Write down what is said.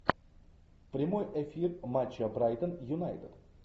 прямой эфир матча брайтон юнайтед